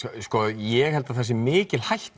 ég held að það sé mikil hætta